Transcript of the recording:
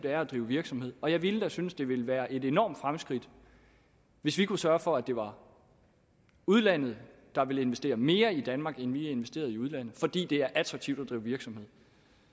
er at drive virksomhed i og jeg ville da synes det ville være et enormt fremskridt hvis vi kunne sørge for at det var udlandet der ville investere mere i danmark end vi investerer i udlandet fordi det er attraktivt at drive virksomhed